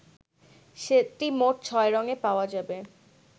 সেটটি মোট ছয় রঙে পাওয়া যাবে